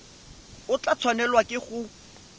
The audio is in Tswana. o tla tshwanelwa ke go